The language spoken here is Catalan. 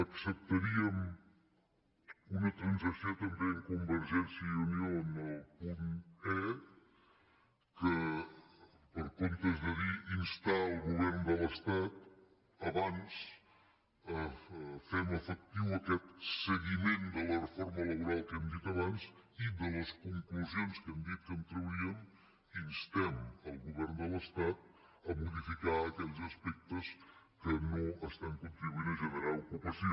acceptaríem una transacció també amb convergèn·cia i unió en el punt e que en comptes de dir ins·tar el govern de l’estat abans fem efectiu aquest se·guiment de la reforma laboral que hem dit abans i de les conclusions que hem dit que en trauríem instem el govern de l’estat a modificar aquells aspectes que no estan contribuint a generar ocupació